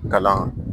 Kalan